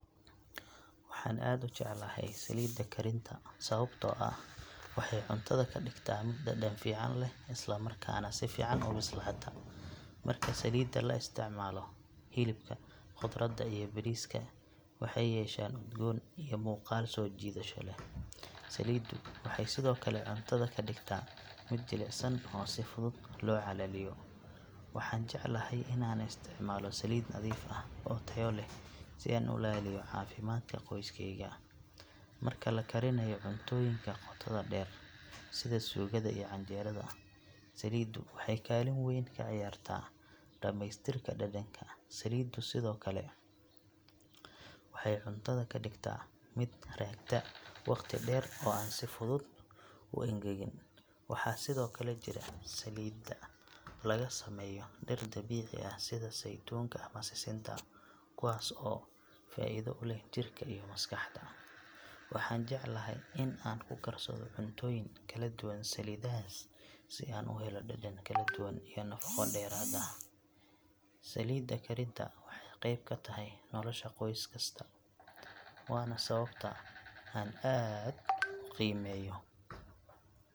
Waxaan aad u jeclahay saliidda karinta sababtoo ah waxay cuntada ka dhigtaa mid dhadhan fiican leh isla markaana si fiican u bislaata. Marka saliidda la isticmaalo, hilibka, khudradda iyo bariiska waxay yeeshaan udgoon iyo muuqaal soo jiidasho leh. Saliiddu waxay sidoo kale cuntada ka dhigtaa mid jilicsan oo si fudud loo calaliyo. Waxaan jeclahay in aan isticmaalo saliid nadiif ah oo tayo leh si aan u ilaaliyo caafimaadka qoyskeyga. Marka la karinaayo cuntooyinka qotoda dheer sida suugada iyo canjeerada, saliiddu waxay kaalin weyn ka ciyaartaa dhameystirka dhadhanka. Saliiddu sidoo kale waxay cuntada ka dhigtaa mid raagta waqti dheer oo aan si fudud u engegin. Waxaa sidoo kale jira saliido laga sameeyo dhir dabiici ah sida saytuunka ama sisinta kuwaas oo faa’iido u leh jirka iyo maskaxda. Waxaan jeclahay in aan ku karsado cuntooyin kala duwan saliidahaas si aan u helo dhadhan kala duwan iyo nafaqo dheeraad ah. Saliidda karinta waxay qeyb ka tahay nolosha qoys kasta, waana sababta aan aad u qiimeeyo.